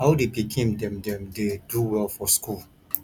how di pikin dem dem dey do well for school